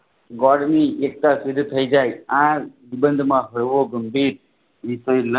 ગોરની એકતા શુદ્ધ થાય જાય આ માં